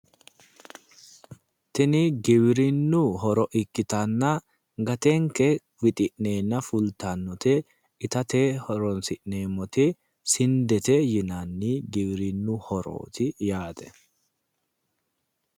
Tini giwirinnu horo ikkitanna gatenke wixi'nenna fultannote itate horonsi'neemmoti sindete yinanni giwirinnu horooti yaate